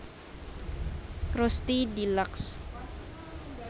Krusty Deluxe